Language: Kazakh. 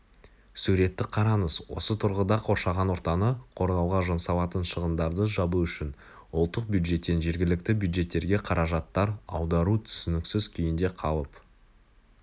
суретті қараңыз осы тұрғыда қоршаған ортаны қорғауға жұмсалатын шығындарды жабу үшін ұлттық бюджеттен жергілікті бюджеттерге қаражатар аудару түсініксіз күйінде қалып